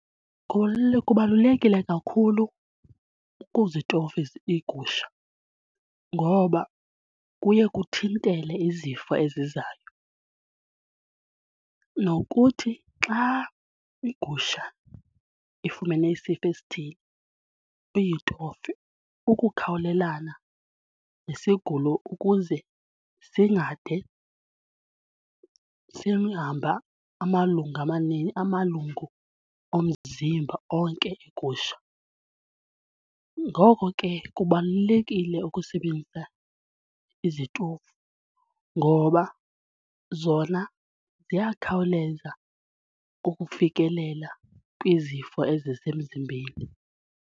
Kubalulekile kakhulu ukuzitofa iigusha ngoba kuye kuthintele izifo ezizayo nokuthi xa igusha ifumene isifo esithile uyitofe ukukhawulelana nesigulo ukuze singade simhambe amalungu omzimba onke egusha. Ngoko ke kubalulekile ukusebenzisa izitovu ngoba zona ziyakhawuleza ukufikelela kwizifo ezisemzimbeni.